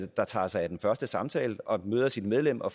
der tager sig af den første samtale og møder sit medlem og